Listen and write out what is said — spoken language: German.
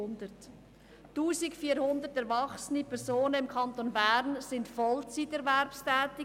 1400 erwachsene Personen im Kanton Bern sind vollzeiterwerbstätig;